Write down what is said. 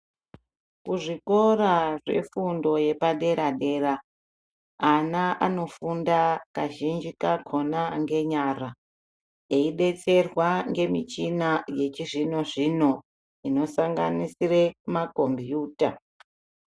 Kuzvikora zvefundo yepaderadera ana anofunda kazhinji kakhona ngenyara, eyidetserwa ngemichina yechizvino zvino, inosanganisire makhompiyutha.